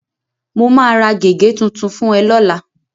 Mo máa ra gègé tuntun fún ẹ lọ́la.